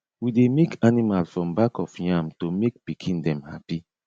we dey make animal from back of yam to make pikin dem happy